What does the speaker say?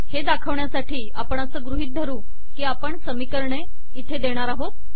हे दाखवण्यासाठी आपण असे गृहित धरू की आपण समीकरणे इथे देणार आहोत